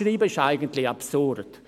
Abschreiben ist eigentlich absurd.